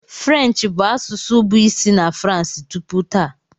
French bụ asụsụ bụ isi na France tupu taa.